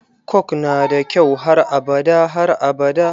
Coke nada kyau har abada har abada.